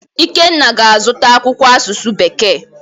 Ikenna ga-azụta akwụkwọ asụsụ bekee.